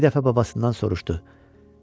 Bir dəfə babasından soruşdu: